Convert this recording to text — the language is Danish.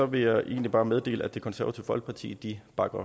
vil jeg egentlig bare meddele at det konservative folkeparti bakker